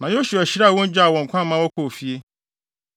Na Yosua hyiraa wɔn, gyaa wɔn kwan ma wɔkɔɔ fie.